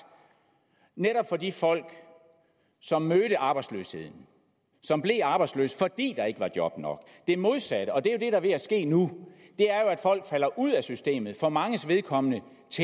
for de folk som mødte arbejdsløshed og som blev arbejdsløse fordi der ikke var job nok det modsatte er ved at ske nu folk falder ud af systemet og for manges vedkommende